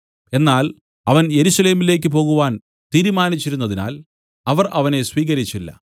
എന്നാൽ അവൻ യെരൂശലേമിലേക്കു പോകുവാൻ തീരുമാനിച്ചിരുന്നതിനാൽ അവർ അവനെ സ്വീകരിച്ചില്ല